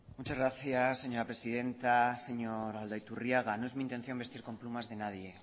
muchas gracias señora presidenta señor aldaiturriaga no es mi intención vestir con plumas de nadie